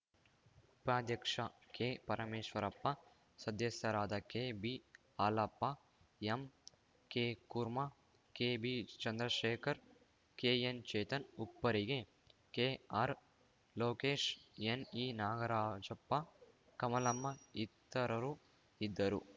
ಉಪಾಧ್ಯಕ್ಷ ಕೆಪರಮೇಶ್ವರಪ್ಪ ಸದಸ್ಯರಾದ ಕೆಬಿಹಾಲಪ್ಪ ಎಂಕೆಕುರ್ಮಾ ಕೆಬಿಚಂದ್ರಶೇಖರ್‌ ಕೆಎನ್‌ಚೇತನ್‌ ಉಪ್ಪರಿಗೆ ಕೆಆರ್‌ಲೋಕೇಶ್‌ ಎನ್‌ಇನಾಗರಾಜಪ್ಪ ಕಮಲಮ್ಮ ಇತರರು ಇದ್ದರು